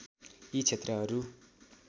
यी क्षेत्रहरू